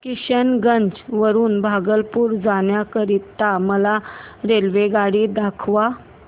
किशनगंज वरून भागलपुर जाण्या करीता मला रेल्वेगाडी दाखवा